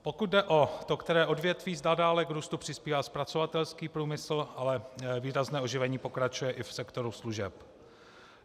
Pokud jde o to které odvětví, zda dále k růstu přispívá zpracovatelský průmysl, ale výrazné oživení pokračuje i v sektoru služeb.